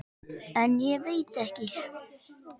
En ég veit ekki.